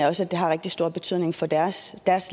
også at det har rigtig stor betydning for deres